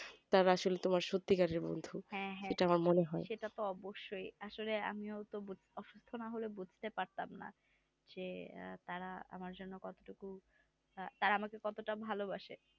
তারা আসলে তোমার সত্যিকারের বন্ধু এটা আমার মনে হয়